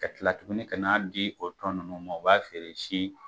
Ka kila tuguni ka n'a di o tɔnɔ ninnu ma o b'a feere si